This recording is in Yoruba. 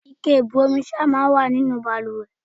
Ike ìbu omi sára máa ń wà nínú bàlùwẹ̀.